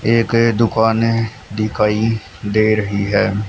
एक दुकाने दिखाई दे रही है।